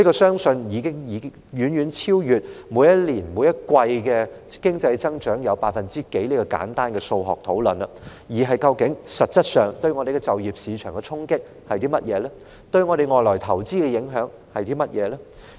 相信有關的影響，已遠超每年、每季經濟增長率的簡單數學問題，而是實質上，我們的就業市場會面對怎樣的衝擊，在香港投資的外國資金會受到甚麼影響。